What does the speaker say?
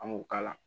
An b'u k'a la